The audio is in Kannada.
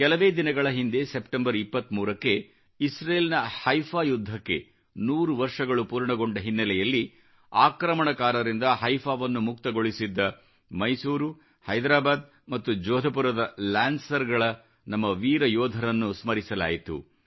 ಕೆಲವೇ ದಿನಗಳ ಹಿಂದೆ ಸೆಪ್ಟೆಂಬರ್ 23 ಕ್ಕೆ ಇಸ್ರೇಲ್ನಿ ಹೈಫಾ ಯುದ್ಧಕ್ಕೆ ನೂರು ವರ್ಷಗಳು ಪೂರ್ಣಗೊಂಡ ಹಿನ್ನೆಲೆಯಲ್ಲಿ ಆಕ್ರಮಣಕಾರರಿಂದ ಹೈಫಾವನ್ನು ಮುಕ್ತಗೊಳಿಸಿದ್ದ ಮೈಸೂರು ಹೈದ್ರಾಬಾದ್ ಮತ್ತು ಜೋಧಪುರದ ಲ್ಯಾನ್ಸರ್ಸ್ ನ ನಮ್ಮ ವೀರ ಯೋಧರನ್ನು ಸ್ಮರಿಸಲಾಯಿತು